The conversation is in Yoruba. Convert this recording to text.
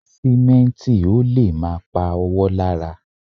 Sìmẹ́ǹtì ò lè má pa ọwọ́ lára